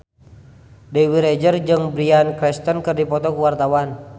Dewi Rezer jeung Bryan Cranston keur dipoto ku wartawan